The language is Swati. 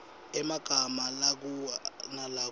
emagama lakua nalakub